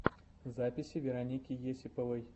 запись вероники есиповой